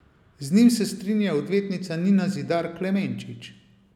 Z njim se strinja odvetnica Nina Zidar Klemenčič.